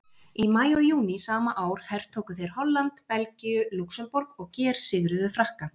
Í maí og júní sama ár hertóku þeir Holland, Belgíu og Lúxemborg og gersigruðu Frakka.